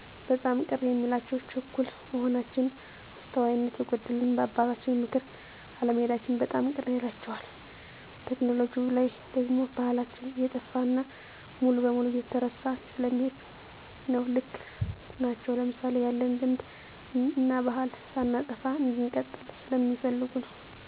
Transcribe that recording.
በጣም ቅር የሚላቸው ችኩል መሆናችን፣ አስተዋይነት የጎደለንና በአባቶቻችን ምክር አለመሔዳችን በጣም ቅር ይላቸዋል። ቴክኖሎጅው ላይ ደግሞ ባሕላችን እየጠፋ እና ሙሉ በሙሉ እየተረሳ ስለሚሔድ ነው። ልክ ናቸው ለምሣሌ፣ ያለንን ልምድ እናባሕል ሳናጠፋ እንድንቀጥል ስለሚፈልጉ ነው።